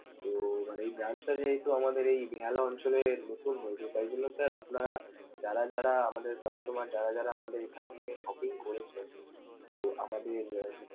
তো মানে এই branch টা যেহেতু আমাদের এই বেহালা অঞ্চলে নতুন হয়েছে তাই জন্য sir আপনারা যারা যারা আমাদের customer যারা যারা আমাদের এখান থেকে shopping করেছে, তো আমাদের।